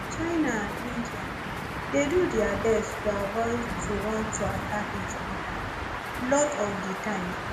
china and india dey do dia best to avoid to want to attack each oda lot of di time